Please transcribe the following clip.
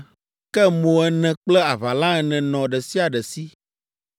ke mo ene kple aʋala ene nɔ ɖe sia ɖe si.